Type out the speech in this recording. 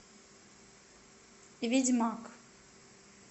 ведьмак